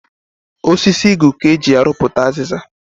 Osisi Igu ka eji arụputa aziza